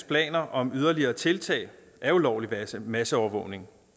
planer om yderligere tiltag af ulovlig masseovervågning